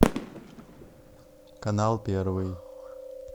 канал первый